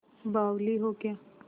बावली हो क्या